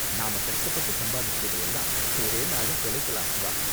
நாம கஷ்டப்பட்டு சம்பாதிச்சதை எல்லாம் ஒரே நாள்ல தொலைக்கலாம், வா.